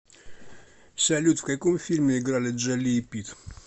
салют в каком фильме играли джоли и питт